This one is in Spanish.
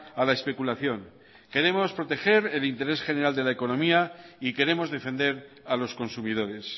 a la especulación queremos proteger el interés general de la economía y queremos defender a los consumidores